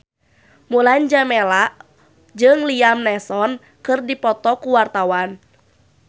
Mulan Jameela jeung Liam Neeson keur dipoto ku wartawan